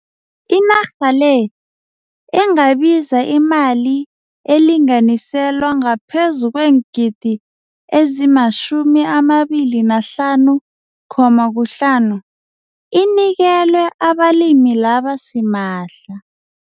Inarha le engabiza imali elinganiselwa ngaphezu kweengidi ezima-R25.5 inikelwe abalimi laba simahla.